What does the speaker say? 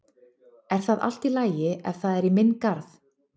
Er það allt í lagi ef það er í minn garð?